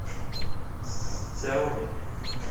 сяоми